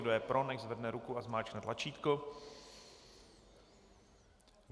Kdo je pro, ať zvedne ruku a zmáčkne tlačítko.